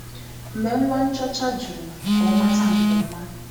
Mgbe nwa nchọcha jụrụ ka ọ mata nke ọma